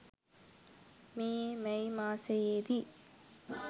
මේ මැයි මාසයේදී